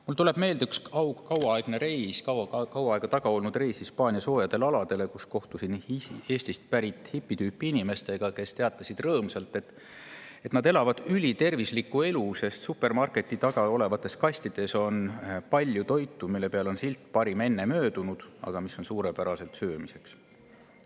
Mulle tuleb meelde üks kaua aega tagasi reis Hispaania soojadele aladele, kus kohtusin Eestist pärit hipi tüüpi inimestega, kes teatasid rõõmsalt, et nad elavad ülitervislikku elu, sest supermarketi taga olevates kastides on palju toitu, mille peal on silt "Parim enne möödunud", aga mis on söömiseks suurepärane.